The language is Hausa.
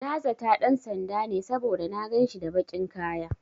Na zata ɗan sanda ne, saboda na ganshi da baƙin kaya.